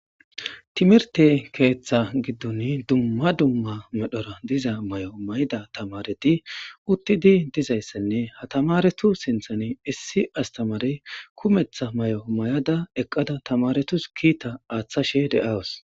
timirte keeththa giddun dumma dumma medhora diza may7o may7ida tamareti uttidi dizayssenne hatamaretu sinthan issi astamare kumetha may7o may7ada eqqada tamaretus kiita aaththashe de7awus